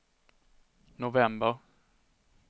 november